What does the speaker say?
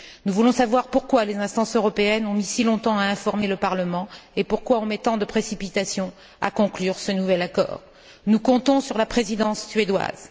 Nous voulons savoir pourquoi les instances européennes ont mis si longtemps à informer le Parlement et pourquoi on met tant de précipitation à conclure ce nouvel accord. Nous comptons sur la Présidence suédoise.